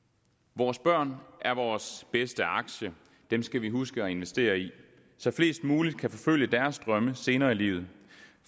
vores børn er vores bedste aktie dem skal vi huske at investere i så flest muligt kan forfølge deres drømme senere i livet